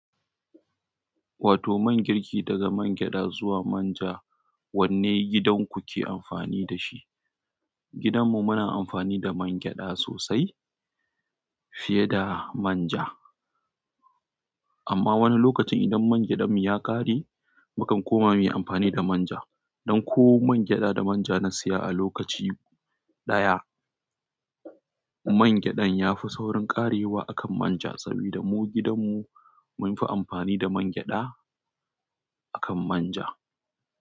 Wato man girki daga man gyaɗa zuwa manja, wanne gidanku ke amfani da shi? Gidan mu muna amfani da man gyaɗa sosai fiye da manja. Amma wani lokacin idan man gyadanmu ya ƙare, mukan koma mu yi amfani da manja. Don ko man gyaɗa da manja na siya a lokaci ɗaya. Man gyaɗan ya fi saurin ƙarewa akan manja saboda mu gidanmu mun fi amfani da man gyaɗa akan manja.